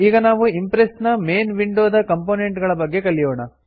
ಈಗ ನಾವು ಇಂಪ್ರೆಸ್ ನ ಮೇನ್ ವಿಂಡೋ ದ ಕಂಪೋನೆಂಟ್ ಗಳ ಬಗ್ಗೆ ಕಲಿಯೋಣ